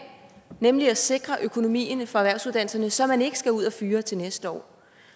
nemlig at sikre økonomien for erhvervsuddannelserne så man ikke skal ud og fyre til næste år